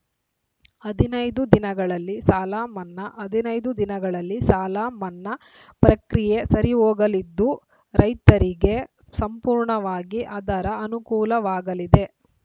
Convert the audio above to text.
ಹದಿನೈದು ದಿನಗಳಲ್ಲಿ ಸಾಲಮನ್ನಾ ಹದಿನೈದು ದಿನಗಳಲ್ಲಿ ಸಾಲಮನ್ನಾ ಪ್ರಕ್ರಿಯೆ ಸರಿಹೋಗಲಿದ್ದು ರೈತರಿಗೆ ಸಂಪೂರ್ಣವಾಗಿ ಅದರ ಅನುಕೂಲವಾಗಲಿದೆ